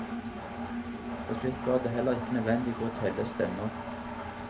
Til slutt var det heller ikke nødvendig å telle stemmer.